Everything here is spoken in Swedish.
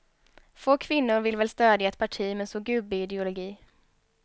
Få kvinnor vill väl stödja ett parti med så gubbig ideologi.